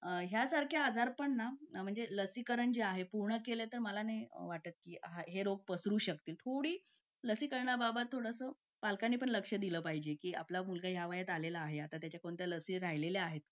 Late होतं सर्दी खोकला हा एक वाढलं आहे. एका मुलाला क्लास पूर्ण क्लास त्याच्यामध्ये वाहून निघत निघत असतो असं म्हणायला हरकत नाही. हो डेंग्यू, मलेरिया यासारखे आजार पण ना म्हणजे लसीकरण आहे. पूर्ण केले तर मला नाही वाटत आहे रोप असू शकतेपुडी लसीकरणाबाबत थोडं पालकांनी लक्ष दिलं पाहिजे की आपला मुलगा या वयात आलेला आहे. आता त्याच्या कोणत्या लसी राहिलेले आहेत का?